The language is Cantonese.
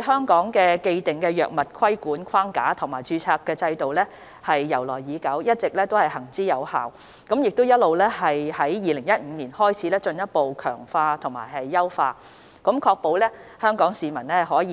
香港既定的藥物規管框架及註冊制度由來已久，一直行之有效，並自2015年開始進一步強化及優化，確保香港市民獲